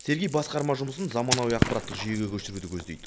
сергей басқарма жұмысын заманауи ақпараттық жүйеге көшіруді көздейді